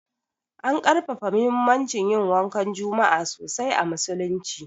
An ƙarfafa muhimmancin yin wankan juma'a sosai a musulunci.